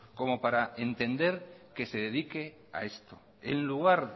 como para entender que se dedique a esto en lugar